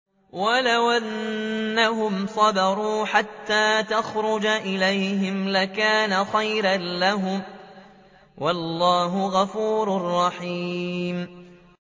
وَلَوْ أَنَّهُمْ صَبَرُوا حَتَّىٰ تَخْرُجَ إِلَيْهِمْ لَكَانَ خَيْرًا لَّهُمْ ۚ وَاللَّهُ غَفُورٌ رَّحِيمٌ